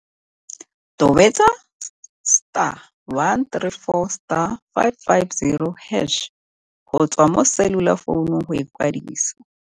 Tobetsa star 134 star 550 hash go tswa mo selulafounong go ikwadisa.